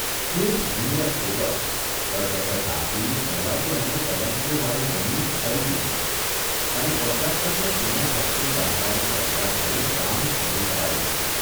ખુબ ઝીણવટપૂર્વક, કરકસર દાખવી પહેલા તો એણે તલંગપુરવાળી જમીન ખરીદી લીધી અને કોન્ટ્રાક્ટરને સિમેન્ટ ફેક્ટરી બાંધવાનો કોન્ટ્રાક્ટ દઇ કામ શરૂ કરાવી દીધું.